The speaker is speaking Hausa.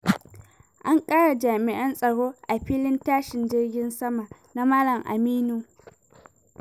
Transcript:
An ƙara jami'an tsaro a filin tashin jirgin sama na Malam Aminu.